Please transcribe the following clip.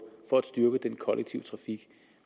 for at styrke den kollektive trafik